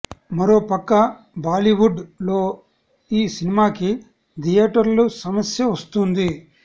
మరో పక్క బాలీవుడ్ లో ఈ సినిమాకి థియేటర్ల సమస్య వస్తుంది